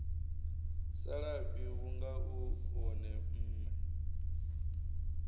salafhi vhunga u wone mme